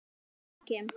LÁRUS: Ég kem.